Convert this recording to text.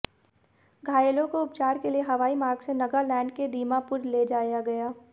घायलों को उपचार के लिए हवाई मार्ग से नगालैंड के दीमापुर ले जाया गया